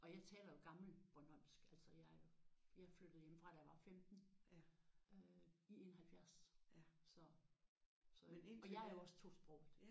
Og jeg taler jo gammelbornholmsk altså jeg er jo jeg flyttede hjemmefra da jeg var 15 øh i 71 så så og jeg er jo også tosproget